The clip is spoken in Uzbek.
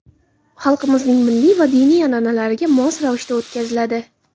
xalqimizning milliy va diniy an’analariga mos ravishda o‘tkaziladi.